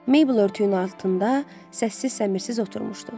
Meybl örtüyün altında səssiz-səmirsiz oturmuşdu.